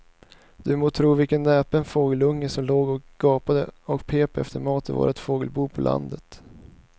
Du må tro vilken näpen fågelunge som låg och gapade och pep efter mat i vårt fågelbo på landet.